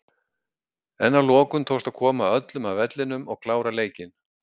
En að lokum tókst að koma öllum af vellinum og klára leikinn.